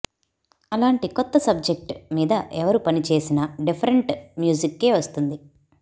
అలాంటి కొత్త సబ్జెక్ట్ మీద ఎవరు పని చేసినా డిఫరెంట్ మ్యూజిక్కే వస్తుంది